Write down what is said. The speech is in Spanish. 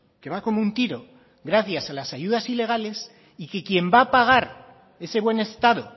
que va como un tiro gracias a las ayudas ilegales y que quien va a pagar ese buen estado